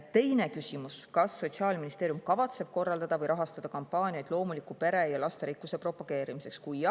Teine küsimus: "Kas Sotsiaalministeerium kavatseb korraldada või rahastada kampaaniat loomuliku pere ja lasterikkuse propageerimiseks?